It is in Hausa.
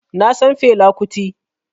Na san Fela Kuti